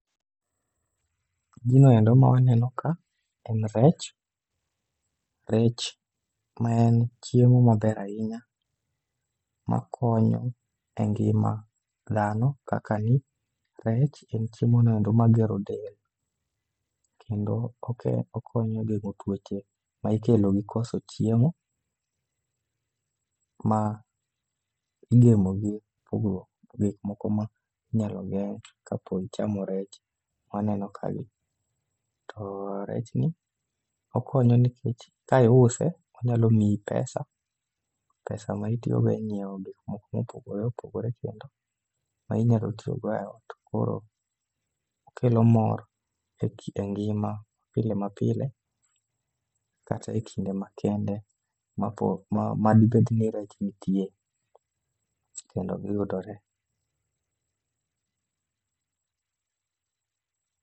Gino endo ma waneno ka en rech, rech maen chiemo maber ahinya makonyo e ngima dhano kaka ni rech en chiemonoendo magero del. Kendo okonyo geng'o tuoche ma ikelo gi koso chiemo, ma igemo gi pogruok gik moko ma nyalo geng'e kapo ichamo rech maneno ka gi. To rech ni, okonyo nekech ka iuse, onyalo miyi pesa, pesa ma itiyogo e ng'iewo gik moko mopogore opogore kendo ma inyalo tiyogo e ot. Koro okelo mor e ngima pile ma pile, kata e kinde makende mapo madibed ni rech nitie kendo giyudore.